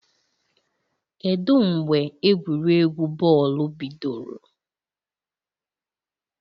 Kedu mgbe egwuregwu bọọlụ bidoro?